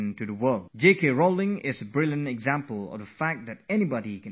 Rowling is a fine example to show that success can come in anyone's life at any time